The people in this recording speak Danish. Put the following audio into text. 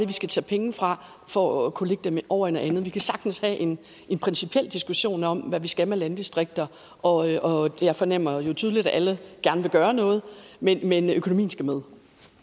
vi skal tage penge fra for at kunne lægge dem over i noget andet vi kan sagtens have en principiel diskussion om hvad vi skal med landdistrikter og jeg fornemmer jo tydeligt at alle gerne vil gøre noget men men økonomien skal med